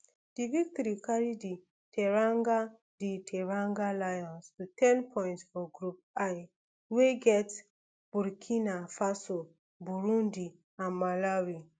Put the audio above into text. di victory carry di teranga di teranga lions to ten points for group l wey get burkina faso burundi and malawi